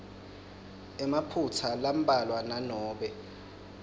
emaphutsa lambalwa nanobe